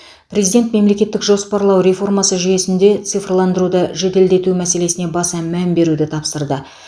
президент мемлекеттік жоспарлау реформасы жүйесінде цифрландыруды жеделдету мәселесіне баса мән беруді тапсырды